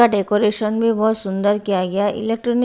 decoration भी बहुत सुंदर किया गया है इलेक्ट्रॉनिक --